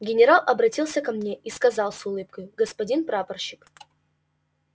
генерал обратился ко мне и сказал с улыбкою господин прапорщик